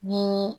Ni